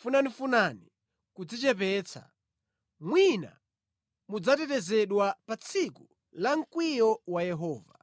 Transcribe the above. funafunani kudzichepetsa; mwina mudzatetezedwa pa tsiku la mkwiyo wa Yehova.